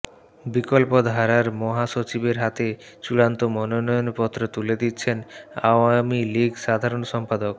বিকল্পধারার মহাসচিবের হাতে চূড়ান্ত মনোনয়নপত্র তুলে দিচ্ছেন আওয়ামী লীগ সাধারণ সম্পাদক